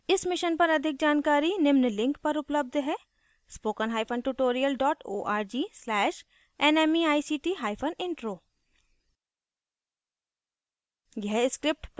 इस mission पर अधिक जानकारी निम्न लिंक पर उपलब्ध है